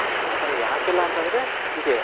ಆ ತರ ಯಾಕ ಇಲ್ಲ ಅಂತಂದ್ರೆ ಇದೆ